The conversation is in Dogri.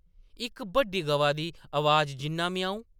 इक बड्डा, गवा दी अवाज जिन्ना ‘म्याऊं’ ।